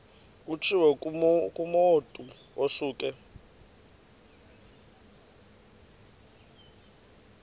kutshiwo kumotu osuke